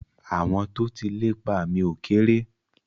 Àwọn tó ti lépa mi ò kérè.